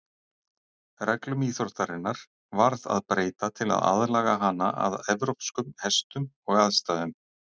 Reglum íþróttarinnar varð að breyta til að aðlaga hana að evrópskum hestum og aðstæðum.